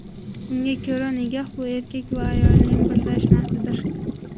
Unga ko‘ra nikoh bu erkak va ayolning birlashmasidir.